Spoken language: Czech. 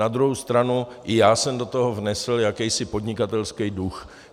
Na druhou stranu i já jsem do toho vnesl jakýsi podnikatelský duch.